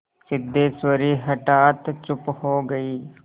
सिद्धेश्वरी हठात चुप हो गई